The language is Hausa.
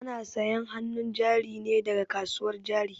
Ana sayan hanun jari ne daga kasuwar jari